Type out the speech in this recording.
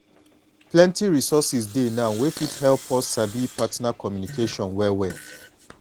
plenty resources dey now wey fit help us sabi partner communication well well